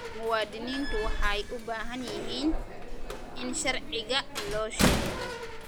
Muwaadiniintu waxay u baahan yihiin in sharciga loo sheego.